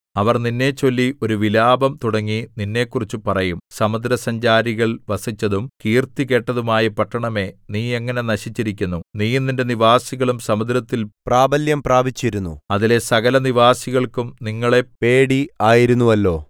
അവർ നിന്നെച്ചൊല്ലി ഒരു വിലാപം തുടങ്ങി നിന്നെക്കുറിച്ച് പറയും സമുദ്രസഞ്ചാരികൾ വസിച്ചതും കീർത്തികേട്ടതുമായ പട്ടണമേ നീ എങ്ങനെ നശിച്ചിരിക്കുന്നു നീയും നിന്റെ നിവാസികളും സമുദ്രത്തിൽ പ്രാബല്യം പ്രാപിച്ചിരുന്നു അതിലെ സകലനിവാസികൾക്കും നിങ്ങളെ പേടി ആയിരുന്നുവല്ലോ